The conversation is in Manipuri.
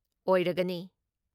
ꯑꯣꯏꯔꯒꯅꯤ ꯫